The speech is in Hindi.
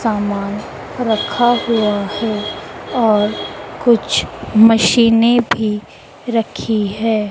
समान रखा हुआ है और कुछ मशीनें भी रखी है।